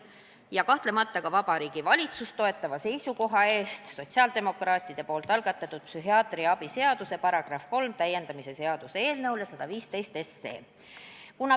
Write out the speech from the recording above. Kahtlemata tahan ma tänada ka Vabariigi Valitsust toetava seisukoha eest sotsiaaldemokraatide algatatud psühhiaatrilise abi seaduse § 3 täiendamise seaduse eelnõule 115.